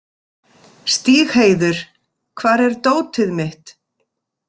Stígheiður, hvar er dótið mitt?